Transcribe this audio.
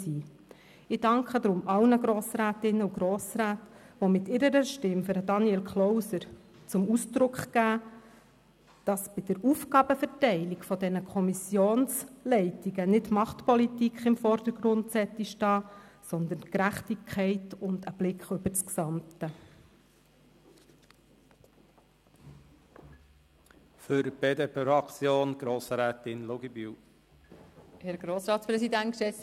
Ich danke allen Grossrätinnen und Grossräten, die mit ihrer Stimme für Daniel Klauser zum Ausdruck bringen, dass bei der Aufgabenverteilung der Kommissionsleitungen nicht Machtpolitik im Vordergrund stehen sollte, sondern Gerechtigkeit und ein Blick aufs Ganze.